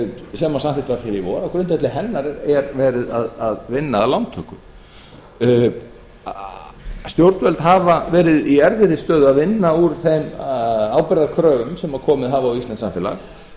sem samþykkt var hér í vor er verið að vinna að lántöku stjórnvöld hafa verið í erfiðri stöðu að vinna úr þeim ábyrgðarkröfum sem komið hafa á íslenskt samfélag